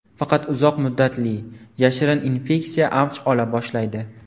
Faqat uzoq muddatli, yashirin infeksiya avj ola boshlaydi.